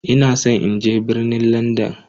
Ina san in je birnin Landan.